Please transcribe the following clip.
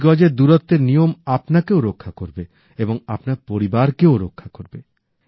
দুই গজ এর দূরত্বের নিয়ম আপনাকেও রক্ষা করবে এবং আপনার পরিবারকেও রক্ষা করবে